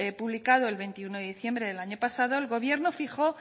publicado el veintiuno de diciembre del año pasado el gobierno fijo